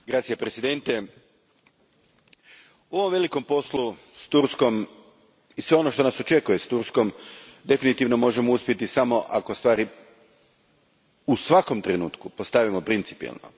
Gospodine predsjedniče, u ovom velikom poslu s Turskom, i svemu onom što nas očekuje s Turskom, definitivno možemo uspjeti samo ako stvari u svakom trenutku postavimo principijelno.